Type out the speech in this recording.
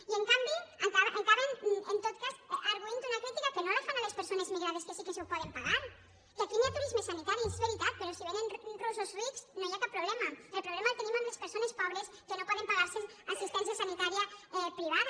i en canvi acaben en tot cas argüint una crítica que no la fan a les persones migrades que sí que s’ho poden pagar que aquí hi ha turisme sanitari és veritat però si vénen russos rics no hi ha cap problema el problema el tenim amb les persones pobres que no poden pagar se assistència sanitària privada